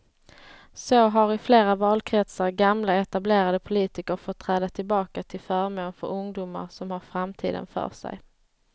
Så har i flera valkretsar gamla etablerade politiker fått träda tillbaka till förmån för ungdomar som har framtiden för sig.